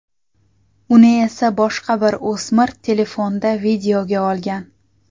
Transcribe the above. Uni esa boshqa bir o‘smir telefonda videoga olgan.